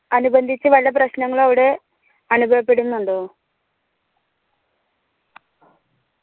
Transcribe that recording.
അനുബന്ധിച്ച്‌ വല്ല പ്രശ്നങ്ങളോ അവിടെ അനുഭവപ്പെടുന്നുണ്ടോ